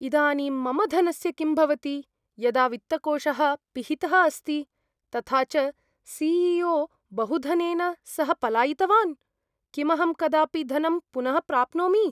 इदानीं मम धनस्य किं भवति यदा वित्तकोषः पिहितः अस्ति, तथा च सि ई ओ बहुधनेन सह पलायितवान्? किमहं कदापि धनं पुनः प्राप्नोमि?